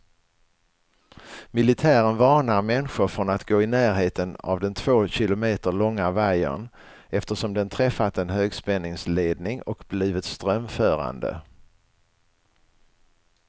Militären varnar människor från att gå i närheten av den två kilometer långa vajern, eftersom den träffat en högspänningsledning och blivit strömförande.